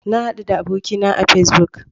Na hadu da abokina a Facebook.